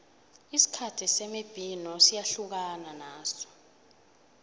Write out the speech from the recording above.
isikhathi semibhino siyahlukana naso